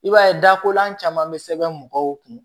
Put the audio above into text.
I b'a ye dakolan caman bɛ sɛbɛn mɔgɔw kun